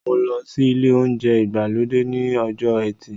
Mo lọ sí ilé oúnjẹ ìgbàlódé ní ọjọ ẹtì